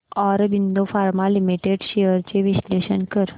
Aurobindo pharma limited shares चे विश्लेषण कर